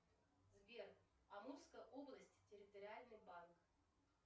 сбер амурская область территориальный банк